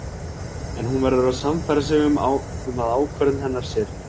En hún verður að sannfæra sig um að ákvörðun hennar sé rétt.